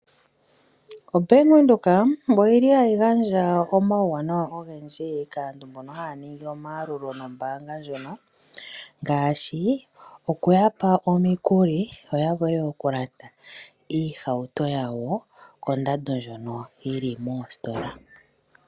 Ombanga yaVenduka oyili hayi gandja omauwanawa ogendji kaantu mbono haya ningi omayalulo nombaanga ndjono. Ngaashi oku yapa omikuli yoya vule oku landa iihawuto yawo kondando ndjono yili moositola.